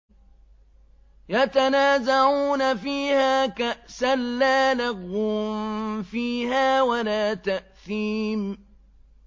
يَتَنَازَعُونَ فِيهَا كَأْسًا لَّا لَغْوٌ فِيهَا وَلَا تَأْثِيمٌ